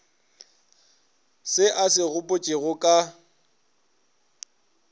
se a se gopotšego ka